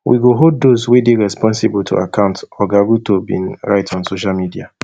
we go hold those wey dey responsible to account oga ruto bin write on social media